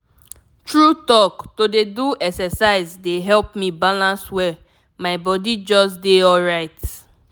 true talk to dey do exercise dey help me balance well my body just dey alright.